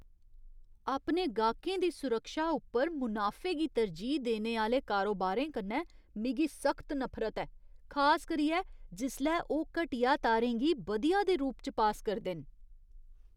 अपने गाह्कें दी सुरक्षा उप्पर मुनाफे गी तरजीह् देने आह्‌ले कारोबारें कन्नै मिगी सख्त नफरत ऐ, खास करियै जिसलै ओह् घटिया तारें गी बधिया दे रूप च पास करदे न।